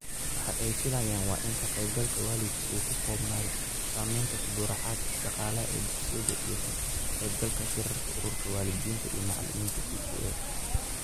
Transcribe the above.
Waxa ay filayaan waa in ka qaybgalka waalidku uu ku koobnaado samaynta tabarucaad dhaqaale ee dugsiyada iyo ka qaybgalka shirarka Ururka Waalidiinta iyo Macalimiinta (PTA).